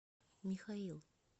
михаил